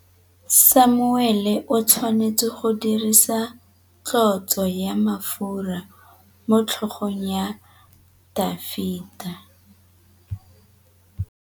Samuele o tshwanetse go dirisa tlotsô ya mafura motlhôgong ya Dafita.